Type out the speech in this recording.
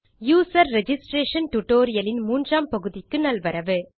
user registration tutorial இன் மூன்றாம் பகுதிக்கு நல்வரவு